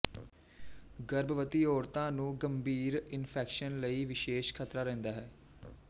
ਗਰਭਵਤੀ ਔਰਤਾਂ ਨੂੰ ਗੰਭੀਰ ਇਨਫੈਕਸ਼ਨ ਲਈ ਵਿਸ਼ੇਸ਼ ਖਤਰਾ ਰਹਿੰਦਾ ਹੈ